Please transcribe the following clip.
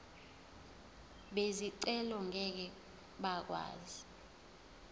bezicelo ngeke bakwazi